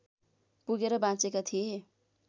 पुगेर बाँचेका थिए